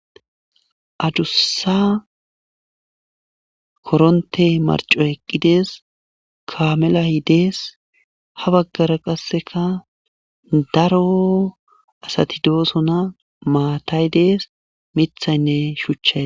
Adussa koronte marco eqqidees kamelay dees ha baggara qasseka daro asati doosona maatay dees mithaynne shuchchay